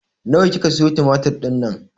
Nawa kika siyo tumatir dinnan?